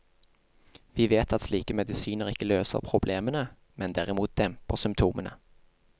Vi vet at slike medisiner ikke løser problemene, men derimot demper symptomene.